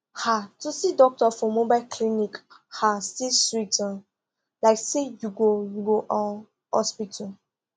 um to see doctor for mobile clinic um still sweet um like say you go you go um hospital